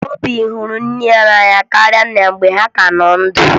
Obi hụrụ nne ya n'anya karịa nna ya mgbe ha ka nọ ndụ